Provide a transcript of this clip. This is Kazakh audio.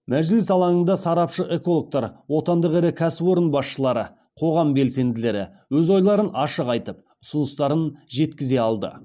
мәжіліс алаңында сарапшы экологтар отандық ірі кәсіпорын басшылары қоғам белсенділері өз ойларын ашық айтып ұсыныстарын жеткізе алды